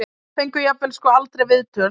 Fengu jafnvel sko aldrei viðtöl.